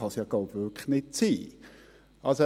Das kann es wirklich nicht sein.